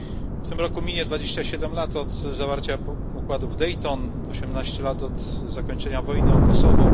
W tym roku minie 22 lat od zawarcia układu w Dayton, 18 lat od zakończenia wojny o Kosowo.